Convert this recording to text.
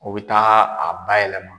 U bɛ taa a ba yɛlɛma.